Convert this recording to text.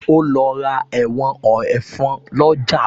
O lọ ra ẹ̀wọ̀n ẹ̀fọn lọ́jà